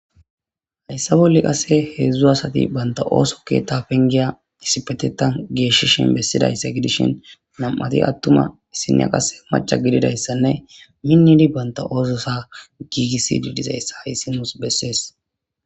Hesa bolla qasi hedzdzu asati banta oso ketha pengiya issippetetani geshishe dizayisa gidishin na'mati atuma isiniya qasika mac'a gididayisanne minidi banta ososa gigisidi dizayisa hayisi nusi besees